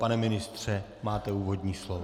Pane ministře, máte úvodní slovo.